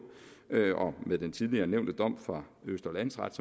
med den tidligere nævnte dom fra østre landsret